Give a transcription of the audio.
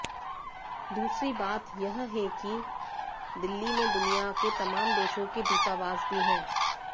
दूसरी बात यह है कि दिल्ली में दुनिया के तमाम देशों के दूतावास भी हैं